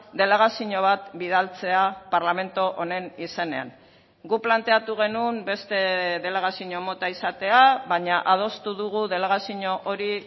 delegazio bat bidaltzea parlamentu honen izenean guk planteatu genuen beste delegazio mota izatea baina adostu dugu delegazio hori